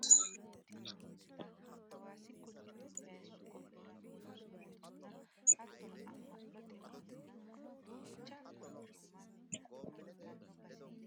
Waa mite baseni hinkile mannu hasiranohura iillishano loosu beettoti kuni waayi jarkenna asse dire wodhino gari leellishano daafoti hatto yaate dandoommohu.